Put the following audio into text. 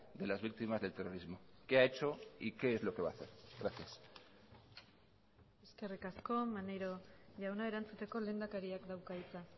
de las víctimas del terrorismo qué ha hecho y qué es lo que va a hacer gracias eskerrik asko maneiro jauna erantzuteko lehendakariak dauka hitza